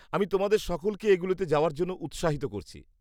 -আমি তোমাদের সকলকে এগুলোতে যাওয়ার জন্য উৎসাহিত করছি।